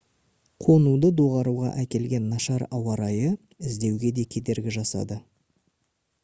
қонуды доғаруға әкелген нашар ауа райы іздеуге де кедергі жасады